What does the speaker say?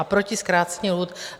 A proti zkrácení lhůt...